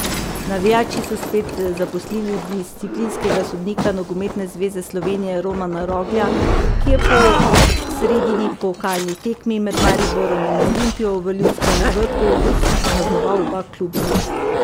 Navijači so spet zaposlili disciplinskega sodnika Nogometne zveze Slovenije Romana Roglja, ki je po sredini pokalni tekmi med Mariborom in Olimpijo v Ljudskem vrtu kaznoval oba kluba.